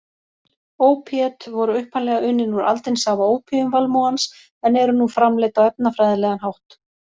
Ópíöt voru upprunalega unnin úr aldinsafa ópíumvalmúans en eru nú framleidd á efnafræðilegan hátt.